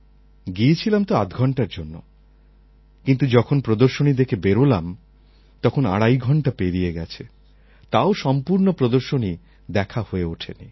গিয়েছিলাম তো আধঘণ্টার জন্য কিন্তু যখন প্রদর্শনী দেখে বেরোলাম তখন আড়াই ঘণ্টা পেরিয়ে গেছে তাও সম্পূর্ণ প্রদর্শনী দেখা হয়ে ওঠে নি